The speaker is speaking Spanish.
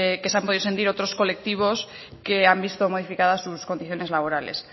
que se han podido sentir otros colectivos que han visto modificadas sus condiciones laborales